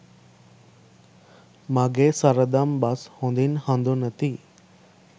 මගේ සරදම් බස් හොඳින් හඳුනති.